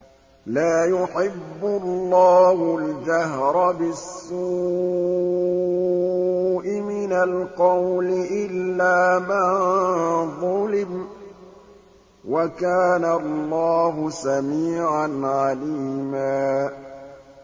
۞ لَّا يُحِبُّ اللَّهُ الْجَهْرَ بِالسُّوءِ مِنَ الْقَوْلِ إِلَّا مَن ظُلِمَ ۚ وَكَانَ اللَّهُ سَمِيعًا عَلِيمًا